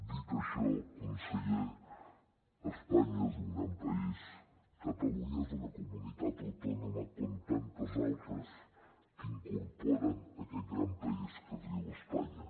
dit això conseller espanya és un gran país catalunya és una comunitat autònoma com tantes altres que incorpora aquest gran país que es diu espanya